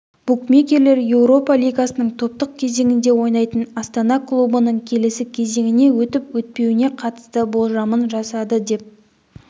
букмекерлер еуропа лигасының топтық кезеңінде ойнайтын астана клубының келесі кезеңіне өтіп-өтпеуіне қатысты болжамын жасады деп